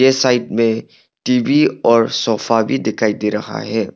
Side में TV और sofa भी दिखाई दे रहा है।